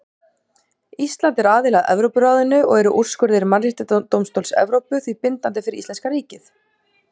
Ísland er aðili að Evrópuráðinu og eru úrskurðir Mannréttindadómstóls Evrópu því bindandi fyrir íslenska ríkið.